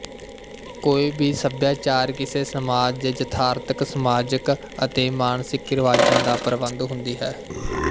ਕੋਈ ਵੀ ਸਭਿਆਚਾਰ ਕਿਸੇ ਸਮਾਜ ਦੇ ਯਥਾਰਥਕਸਮਾਜਕ ਅਤੇ ਮਾਨਸਿਕ ਰਿਵਾਜਾਂ ਦਾ ਪ੍ਰਬੰਧ ਹੁੰਦੀ ਹੈ